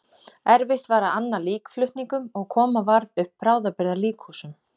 Erfitt var að anna líkflutningum og koma varð upp bráðabirgða líkhúsum.